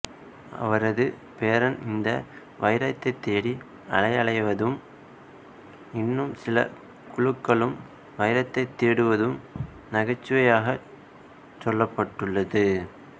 அவரது பேரன் இந்த வைரத்தைத்தேடி அலையலைவதும் இன்னும் சில குழுக்களும் வைரத்தை தேடுவதும் நகைச்சுவையாகச் சொல்லப்பட்டுள்ளது